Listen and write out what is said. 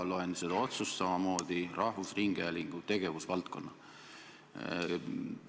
Loen ka seda otsust ja seal on samamoodi mainitud rahvusringhäälingu tegevusvaldkonda.